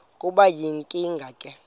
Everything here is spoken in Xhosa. kube yinkinge ke